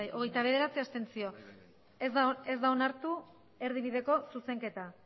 hogeita bederatzi abstentzio ondorioz ez da onartu erdibideko zuzenketa